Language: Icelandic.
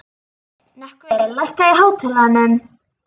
Nökkvi, lækkaðu í hátalaranum.